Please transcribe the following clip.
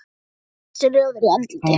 Hann var ansi rjóður í andliti.